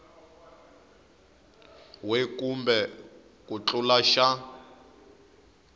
we kumbe ku tlula xa